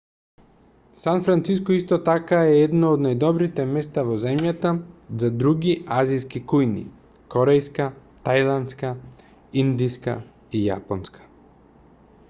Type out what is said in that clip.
сан франциско исто така е едно од најдобрите места во земјата за други азиски кујни корејска тајландска индиска и јапонска